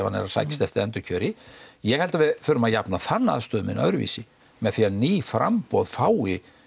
hann er að sækjast eftir endurkjöri ég held að við verðum að jafna þann aðstöðumun öðruvísi með því að ný framboð fái